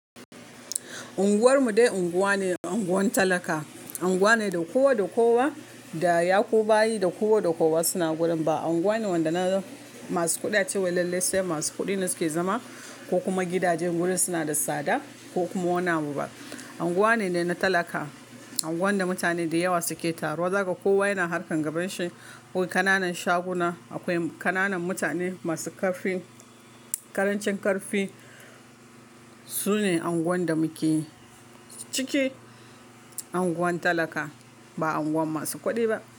Unguwar mu dai unguwa ne, unguwan talaka. Unguwa ne da kowa da kowa da ya ku bayi da kowa da kowa suna gurin. Ba unguwa ne wanda na masu kuɗi ace lalle sai masu kuɗi ne suke zama ko kuma gidajen gurin suna da tsada ko kuma wanamu ba. Unguwa ne dai na talaka, unguwan da mutane da yawa suke taruwa. Zaka kowa yana harkan gaban shi. Akwai ƙananan shaguna, akwai ƙananan mutane masu ƙarfin, ƙarancin ƙarfi. Su ne unguwan da muke ciki, unguwan talaka ba unguwan masu kuɗi ba.